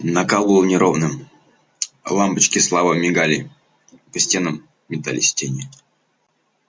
накал был неровным лампочки слабо мигали и по стенам метались тени